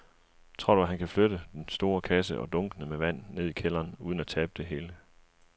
Tror du, at han kan flytte den store kasse og dunkene med vand ned i kælderen uden at tabe det hele?